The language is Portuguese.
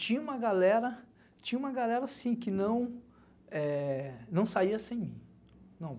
Tinha uma galera tinha uma galera assim, que não, eh, não saía sem mim.